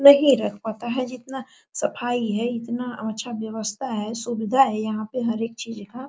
नहीं रह पाता है ये इतना सफाई है इतना अच्छा व्यवस्था है सुविधा है यहाँ पे हर एक चीज का।